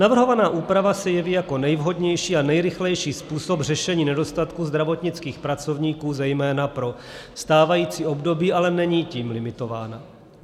Navrhovaná úprava se jeví jako nejvhodnější a nejrychlejší způsob řešení nedostatku zdravotnických pracovníků zejména pro stávající období, ale není tím limitována.